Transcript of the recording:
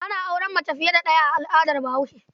Ana auren mace fiye da ɗaya a al'adar Bahaushe.